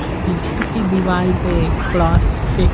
पीछे की दीवाल पे क्रॉस फिक --